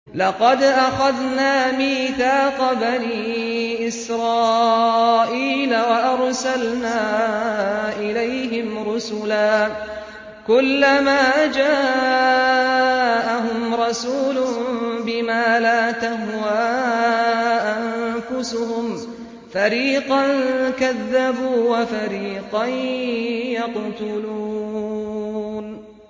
لَقَدْ أَخَذْنَا مِيثَاقَ بَنِي إِسْرَائِيلَ وَأَرْسَلْنَا إِلَيْهِمْ رُسُلًا ۖ كُلَّمَا جَاءَهُمْ رَسُولٌ بِمَا لَا تَهْوَىٰ أَنفُسُهُمْ فَرِيقًا كَذَّبُوا وَفَرِيقًا يَقْتُلُونَ